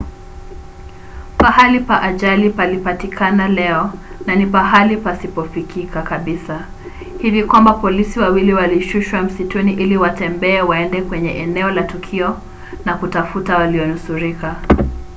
mahali pa ajali palipatikana leo na ni mahali pasipofikika kabisa hivi kwamba polisi wawili walishushwa msituni ili watembee waende kwenye eneo la tukio na kutafuta walionusurika